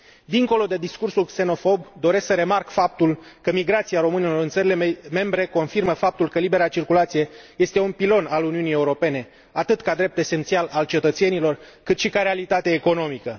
Dincolo de discursul xenofob, doresc să remarc faptul că migrația românilor în țările membre confirmă faptul că libera circulație este un pilon al Uniunii Europene, atât ca drept esențial al cetățenilor, cât și ca realitate economică.